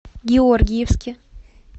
георгиевске